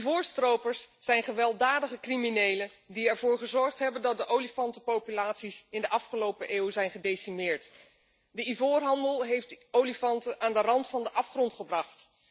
Ivoorstropers zijn gewelddadige criminelen die ervoor gezorgd hebben dat de olifantenpopulaties in de afgelopen eeuw zijn gedecimeerd. De ivoorhandel heeft de olifanten aan de rand van de afgrond gebracht.